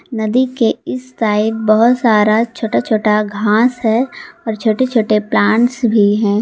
नदी के इस साइड बहोत सारा छोटा छोटा घास है और छोटे छोटे प्लांट्स भी हैं।